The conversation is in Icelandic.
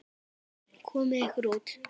Komiði ykkur út!